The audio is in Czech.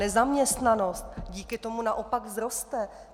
Nezaměstnanost díky tomu naopak vzroste.